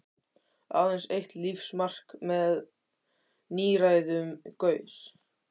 Aðeins eitt lífsmark með níræðum gaur.